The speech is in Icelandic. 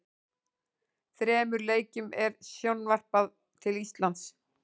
Þremur leikjum er sjónvarpað til Íslands.